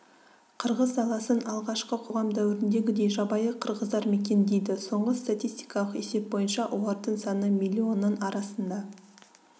қырғыз даласын алғашқы қоғам дәуіріндегідей жабайы қырғыздар мекендейді соңғы статистикалық есеп бойынша олардың саны миллионның арасында